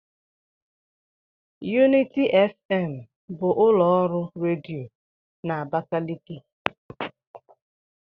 Unity FM bụ ụlọ ọrụ redio na Abakaliki.